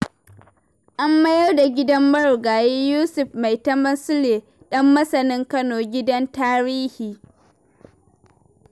An mayar da gidan marigayi Yusuf Maitama Sule Ɗanmasanin Kano gidan tarihi.